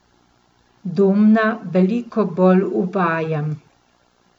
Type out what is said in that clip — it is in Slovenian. Domna veliko bolj uvajam.